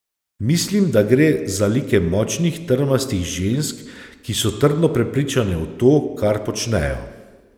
Mislim, da gre za like močnih, trmastih žensk, ki so trdno prepričane v to, kar počnejo.